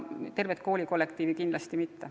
Tervele kooli kollektiivile kindlasti mitte.